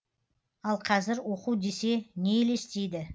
ал қазір оқу десе не елестейді